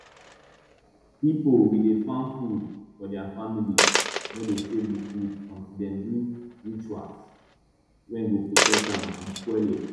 pipo we dey farm food for dia family no dey save di food until dem do rituals wey go protect am from spoilage